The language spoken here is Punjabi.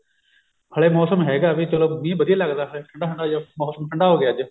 ਹਲੇ ਮੋਸਮ ਹੈਗਾ ਵੀ ਚਲੋ ਮੀਂਹ ਵਧੀਆ ਲੱਗਦਾ ਠੰਡਾ ਠੰਡਾ ਜਾ ਮੋਸਮ ਠੰਡਾ ਹੋਗੀਆ ਅੱਜ